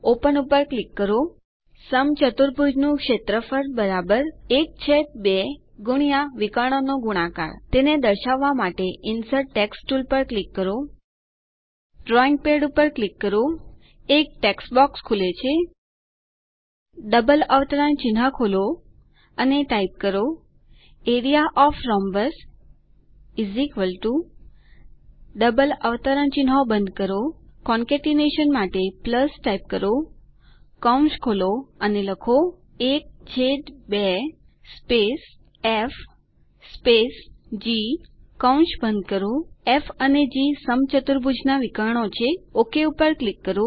open પર click કરો સમચતુર્ભુજનું ક્ષેત્રફળ ૧૨ વિકર્ણોનો ગુણાકાર તેને દર્શાવવા માટે ઇન્સર્ટ ટેક્સ્ટ ટુલ પર ક્લિક કરો ડ્રોઈંગ પેડ પર ક્લિક કરો એક ટેક્સ્ટ બોક્સ ખુલે છે ડબલ અવતરણચિહ્નો ખોલો અને ટાઇપ કરો A R E A O F the rhombus double અવતરણચિહ્નો બંધ કરો કોનકેટીનેશન માટે ટાઇપ કરો કૌંસ ખોલો અને લખો 12 સ્પેસ ફ સ્પેસ જી કૌંસ બંધ કરો ફ અને જી સમચતુર્ભુજના વિકર્ણો છે ઓક પર ક્લિક કરો